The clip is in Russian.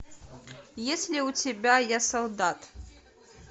есть ли у тебя я солдат